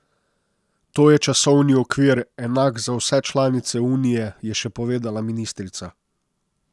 To je časovni okvir, enak za vse članice unije, je še povedala ministrica.